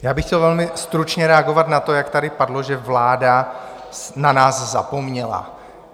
Já bych chtěl velmi stručně reagovat na to, jak tady padlo, že vláda na nás zapomněla.